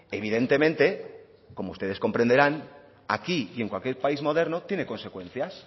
evidentemente como ustedes comprenderán aquí y en cualquier país moderno tiene consecuencias